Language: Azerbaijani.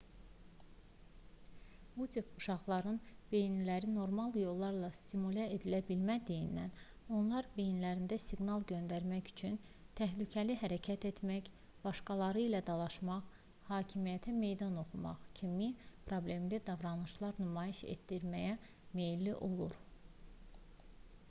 bu tip uşaqların beyinləri normal yollarla stimulə edilə bilmədiyindən onlar beyinlərinə siqnal göndərmək üçün təhlükəli hərəkətlər etmək başqaları ilə dalaşmaq hakimiyyətə meydan oxumaq kimi problemli davranışlar nümayiş etdirməyə meylli olur